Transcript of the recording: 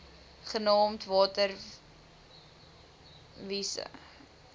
genaamd water wise